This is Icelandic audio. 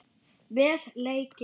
Vel leikið.